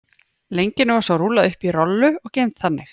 Lengjunni var svo rúllað upp í rollu og geymd þannig.